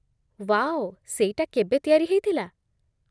Wow, ସେଇଟା କେବେ ତିଆରି ହେଇଥିଲା?